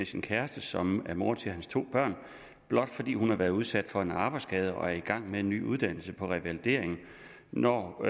sin kæreste som er mor til hans to børn blot fordi hun har været udsat for en arbejdsskade og er i gang med en ny uddannelse på revalidering når